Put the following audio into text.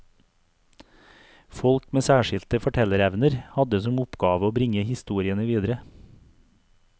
Folk med særskilte fortellerevner, hadde som oppgave å bringe historiene videre.